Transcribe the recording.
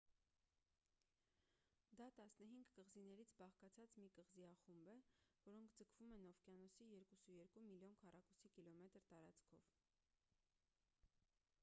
դա 15 կղզիներից բաղկացած մի կղզիախումբ է որոնք ձգվում են օվկիանոսի 2,2 միլիոն քառ կմ տարածքով